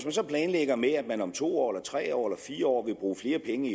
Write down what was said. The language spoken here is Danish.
så planlægger med at man om to år tre år eller fire år vil bruge flere penge